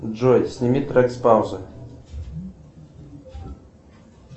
джой сними трек с паузы